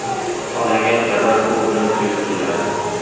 Olingan sharbat suv bilan suyultiriladi.